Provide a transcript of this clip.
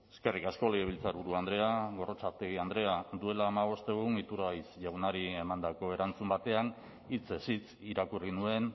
eskerrik asko legebiltzarburu andrea gorrotxategi andrea duela hamabost egun iturgaiz jaunari emandako erantzun batean hitzez hitz irakurri nuen